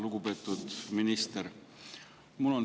Lugupeetud minister!